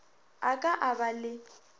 a ka a ba le